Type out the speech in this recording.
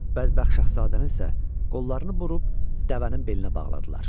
Bədbəxt Şahzadənin isə qollarını burub dəvənin belinə bağladılar.